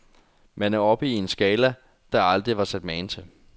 Man er oppe i en skala, der aldrig var set mage til.